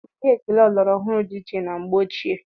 Ụdị ekele ọlọrọ ọhụrụ dị iche na mgbe ochie